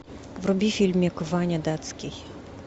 вруби фильмик ваня датский